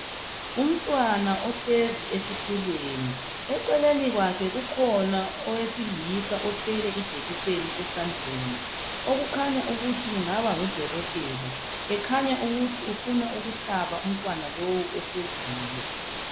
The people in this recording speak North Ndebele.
Umntwana ohlezi esitulweni eceleni kwakhe kukhona owesilisa othwele ijekiseni esandleni. Okukhanya ukuthi engaba ngudokotela ekhanya ukuthi ufuna ukuhlaba umntwana lowu ohleziyo.